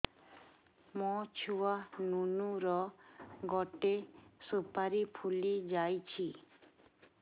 ମୋ ଛୁଆ ନୁନୁ ର ଗଟେ ସୁପାରୀ ଫୁଲି ଯାଇଛି